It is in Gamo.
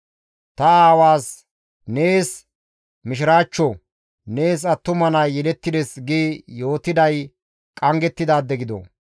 Ta aawaas, «Nees mishiraachcho; nees attuma nay yelettides!» gi yootiday qanggettidaade gido!